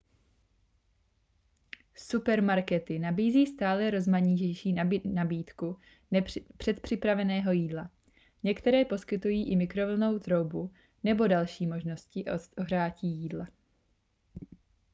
supermarkety nabízí stále rozmanitější nabídku předpřipraveného jídla některé poskytují i mikrovlnnou troubu nebo další možnosti ohřátí jídla